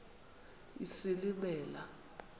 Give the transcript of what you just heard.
isilimela